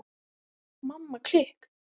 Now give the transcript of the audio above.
Mamma klikk!